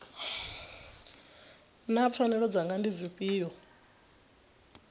naa pfanelo dzanga ndi dzifhio